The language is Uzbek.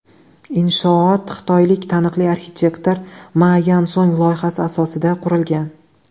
Inshoot xitoylik taniqli arxitektor Ma Yansong loyihasi asosida qurilgan.